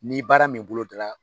Ni baara min boloda la.